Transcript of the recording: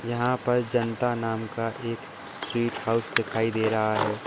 यहां पर जनता नाम का एक स्वीट हाउस दिखाई दे रहा है।